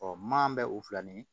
maa bɛ o filɛ nin ye